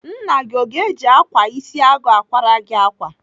Nna gị o ga-eji ákwà isi agụ akwara gị ákwà?